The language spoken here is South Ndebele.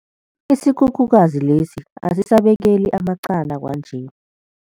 Isikhukhukazi lesi asisabekeli amaqanda kwanje.